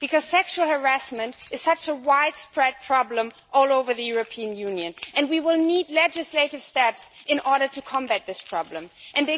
Sexual harassment is such a widespread problem all over the European Union, and we will need legislative steps to combat it.